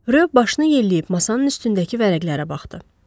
Reyo başını yelləyib masanın üstündəki vərəqlərə baxdı.